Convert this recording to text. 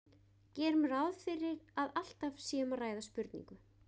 Gerum ráð fyrir að alltaf sé um að ræða spurningu.